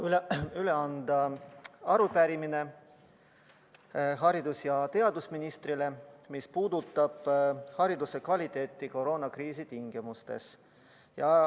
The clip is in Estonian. Mul on au üle anda arupärimine haridus- ja teadusministrile, see puudutab hariduse kvaliteeti koroonakriisi tingimustes.